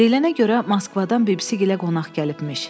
Deyilənə görə Moskvadan bibisi gilə qonaq gəlibmiş.